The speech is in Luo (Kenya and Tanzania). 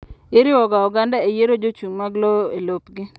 Iriwoga oganda eyiero jochung' mag lowo elopgi.